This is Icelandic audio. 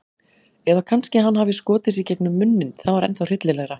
Eða kannski hann hafi skotið sig gegnum munninn- það var ennþá hryllilegra.